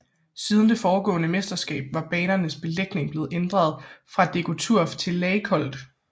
Siden det foregående mesterskab var banernes belægning blevet ændret fra DecoTurf til Laykold